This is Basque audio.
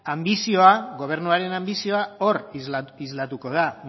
gobernuaren anbizioa hor islatuko da